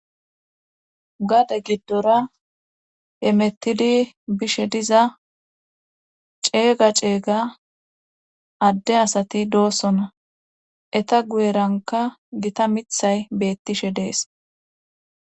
Gade giddora emettidi bishe diza ceega ceeyga adde asati doosona eta guyeranka gita mithay beettishe dees